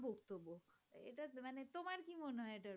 কি মনে হয়